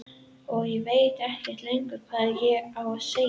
Og ég veit ekkert lengur hvað ég á að segja.